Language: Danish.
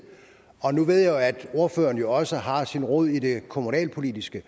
og nu ved jeg jo at ordføreren også har sin rod i det kommunalpolitiske